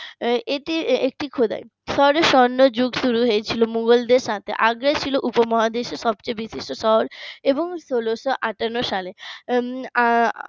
এটি একটি খোদাই এরপর স্বর্ণযুগ শুরু হয়েছিল মুঘলদের সাথে আগ্রা ছিল উপমহাদেশের সবচেয়ে বিশিষ্ট শহর এবং ষোলোশো আটান্ন সাল